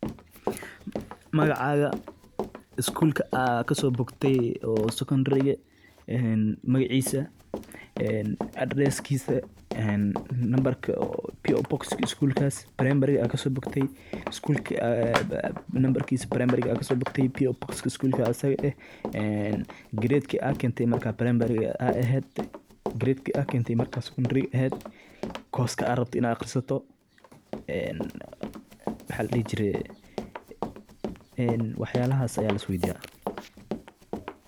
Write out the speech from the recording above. Magacada iskulka aad kaso bogte oo Secondary magaciisa een Adrees kiisa een lamberka oo P.o box kaa iskulkaas Primary aad kas so bogtey iskulakii aad lamberkiisa ka Primary aad ka so bogtey P.o box kaas asigaa eeh Grade aad keente maarka Primary eehed Grade aa keente marka Secondary eehed course kaa rabto inaad aqriisato waaxa la diixi jiire waax yaalaxas aya la isweydiiya